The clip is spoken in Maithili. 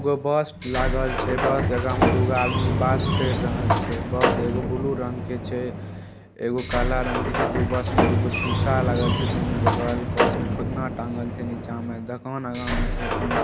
एगो बस लागल छै बस के आगे में दूगो आदमी बात केर रहल छै| बस एगो ब्लू रंग के छै एगो काला रंग के छै दू बस में दुगो शीशा लगल छै दुनु बगल बस में फुदना टांगल छै नीचे में दोकान आगा में छै